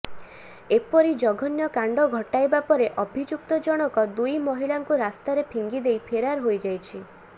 ଏପରି ଜଘନ୍ୟ କାଣ୍ଡ ଘଟାଇବା ପରେ ଅଭିଯୁକ୍ତ ଜଣକ ଦୁଇ ମହିଳାଙ୍କୁ ରାସ୍ତାରେ ଫିଙ୍ଗିଦେଇ ଫେରାର ହୋଇଯାଇଛି